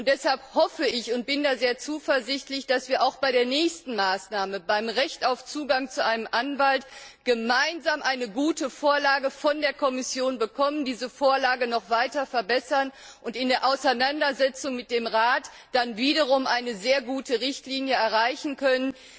Deshalb hoffe ich und bin da sehr zuversichtlich dass wir auch bei der nächsten Maßnahme, beim Recht auf Zugang zu einem Anwalt, gemeinsam eine gute Vorlage von der Kommission bekommen, diese Vorlage noch weiter verbessern und in der Auseinandersetzung mit dem Rat dann wiederum eine sehr gute Richtlinie erreichen können.